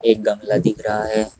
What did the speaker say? एक गमला दिख रहा है।